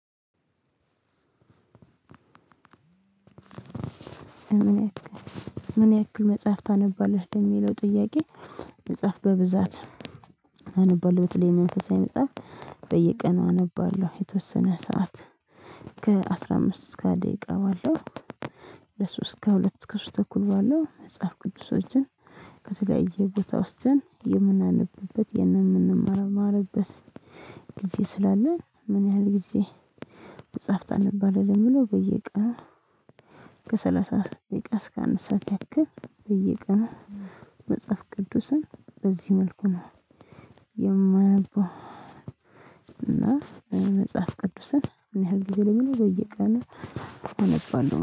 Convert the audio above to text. ምን ያክል ምን ያክል መጽሐፍ ታነባለህ ለሚለው ጥያቄ? መጽሐፍ በብዛት አነባለሁ። በተለይ መንፈሳዊ መጽሐፍ በየቀኑ አነባለሁ የተወሰነ ሰዓት ከአስራ አምስት እስከ ሃያ ደቂቃ ባለው። ለሶስት ከሁለት እስከ ሶስት ተኩል ባለው መጽሐፍ ቅዱሶችን ከተለያየ ቦታ ውስጥ የምናነብበት የምንማርማርበት ጊዜ ስላለን ምን ያህል ጊዜ? መጽሐፍ ታንባለህ ለሚለውበየቀን ከሰላሳ ደቂቃ እስከ አንድ ሰዓት ያክልር በየቀን መጽሐፍ ቅዱስን በዚህ መልኩ ነው የማነበው። እና መጽሐፍ ቅዱስን ምን ያህል ጊዜ ለምን? በየቀኑ አነባለሁ